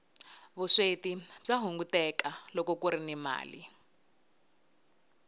vusweti bya hunguteka loko kuri ni mali